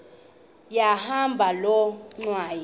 yahamba loo ngxwayi